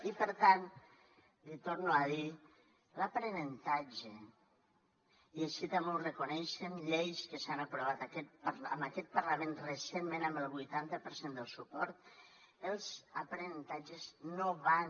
i per tant li torno a dir l’aprenentatge i així també ho reconeixen lleis que s’han aprovat en aquest parlament recentment amb el vuitanta per cent del suport els aprenentatges no van